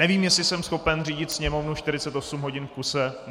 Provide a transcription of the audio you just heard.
Nevím, jestli jsem schopen řídit Sněmovnu 48 hodin v kuse.